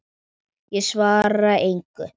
Ég svara engu.